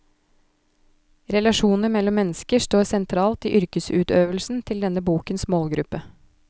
Relasjoner mellom mennesker står sentralt i yrkesutøvelsen til denne bokens målgruppe.